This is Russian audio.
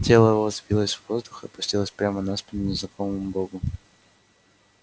тело его взвилось в воздух и опустилось прямо на спину незнакомому богу